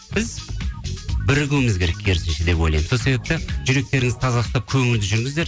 біз бірігіуміз керек керісінше деп ойлаймын сол себепті жүректеріңізді таза ұстап көңілді жүріңіздер